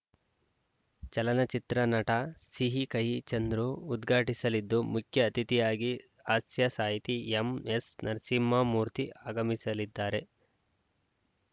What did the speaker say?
ಚಲನಚಿತ್ರ ನಟ ಸಿಹಿ ಕಹಿ ಚಂದ್ರು ಉದ್ಘಾಟಿಸಲಿದ್ದು ಮುಖ್ಯ ಅತಿಥಿಯಾಗಿ ಹಾಸ್ಯ ಸಾಹಿತಿ ಎಂಎಸ್‌ನರಸಿಂಹಮೂರ್ತಿ ಆಗಮಿಸಲಿದ್ದಾರೆ